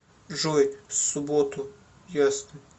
джой субботу ясно